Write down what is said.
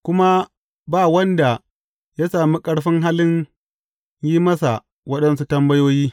Kuma ba wanda ya sami ƙarfin halin yin masa waɗansu tambayoyi.